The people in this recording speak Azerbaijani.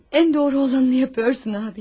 En doğru olanı yapıyorsun abi.